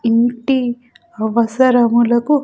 ఇంటి అవసరములకు --